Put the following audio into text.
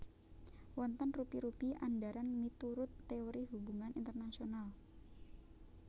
Wonten rupi rupi andharan miturut teori hubungan internasional